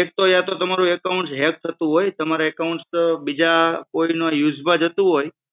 એક તો યા તો તમારું account hack થતું હોય. તમારું account બીજા કોઈના use માં જતું હોય.